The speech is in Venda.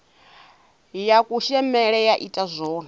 ya kushemele ya ita zwone